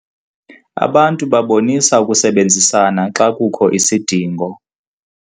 Abantu babonisa ukusebenzisana xa kukho isidingo.